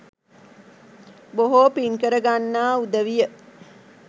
බොහෝ පින්කර ගන්නා උදවිය